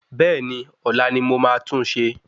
Bẹ́ẹ̀ni ọ́la ni mo ma tunṣe